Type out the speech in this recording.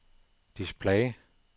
display